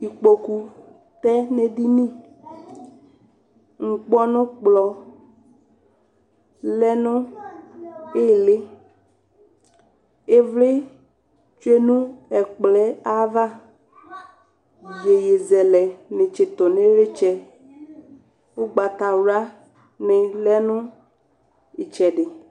Ikpoku tɛ nʋ edini Ŋkpɔnʋkplɔ lɛ nʋ ɩɩlɩ Ɩvlɩ tsue nʋ ɛkplɔ yɛ ava Iyeyezɛlɛnɩ tsɩtʋ nʋ ɩɣlɩtsɛ Ʋgbatawlanɩ lɛ nʋ ɩtsɛdɩ